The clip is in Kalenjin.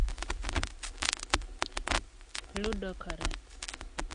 Ludogorets.